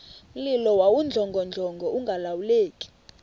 mlilo wawudlongodlongo ungalawuleki